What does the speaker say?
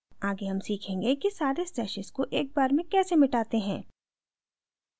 आगे हम सीखेंगे कि सारे stashes को एक बार में कैसे मिटाते हैं